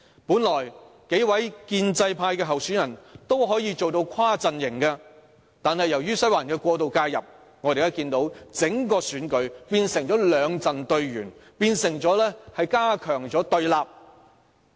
本來數名建制派候選人可以做到跨陣營競選，但由於"西環"過度介入，整個選舉變成兩陣對圓，變成加強了對立。